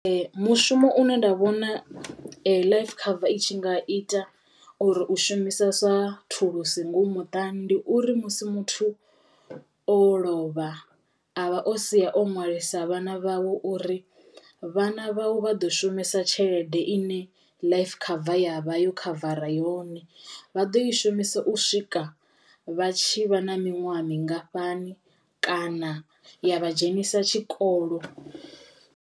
Mushumo une nda vhona life cover i tshi nga ita uri u shumisa sa thulusi ngomu muṱani ndi uri musi muthu o lovha avha o sia o ṅwalisa vhana vhawe uri vhana vhawe vha ḓo shumisa tshelede ine life cover ya vha yo khavara yone. Vha ḓo i shumisa u swika vha tshi vha na miṅwaha mingafhani kana ya vha dzhenisa tshikol